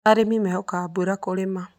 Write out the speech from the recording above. Arĩmi mehokaga mbura kũrĩma.